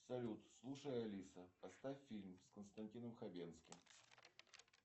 салют слушай алиса поставь фильм с константином хабенским